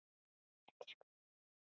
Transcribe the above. Elsku Heiða systir.